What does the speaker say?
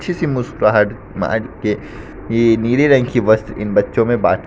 अच्छी सी मुस्कराहट मार के ये नीले रंग की बस इन बच्चों में बांट--